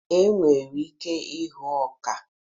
E nwere ike hụuo ọka.